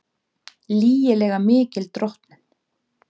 Lygilega mikil drottnun